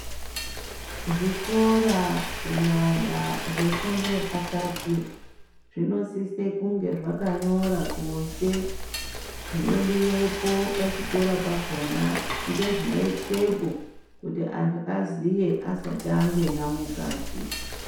Zvikora kunyanya zvefundo yepakati zvinosise kunge zvakanyora kunze. Zvinodivepo pachikora pakona ngezvinotwepo kuti antu aziye asati angena mukati.